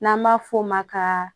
N'an b'a f'o ma ka